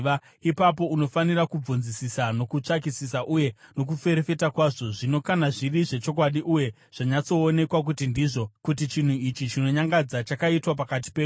ipapo unofanira kubvunzisisa, nokutsvakisisa uye nokuferefeta kwazvo. Zvino kana zviri zvechokwadi uye zvanyatsoonekwa kuti ndizvo, kuti chinhu ichi chinonyangadza chakaitwa pakati penyu,